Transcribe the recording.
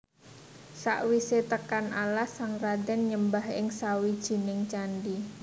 Sakwisé tekan alas sang radén nyembah ing sawijining candhi